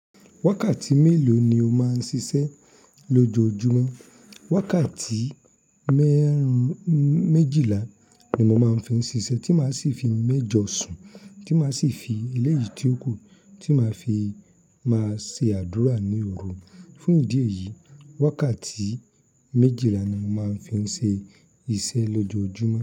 Wákàtí mélòó ni o máa ń ṣiṣẹ́ lójoojúmọ́? Wákàtí mẹ́run méjìlá ni mo máa ń fi ń ṣiṣẹ́, tí màá sì fi mẹ́jọ sùn, tí màá sì fi eléyìí tí ó kù, tí màá fi máa ṣe àdúrà ní òru. Fún ìdí èyí, wákàtí méjìlá ni mo máa ń fi ṣe iṣẹ́ lójoojúmọ́.